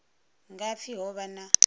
nga pfi ho vha na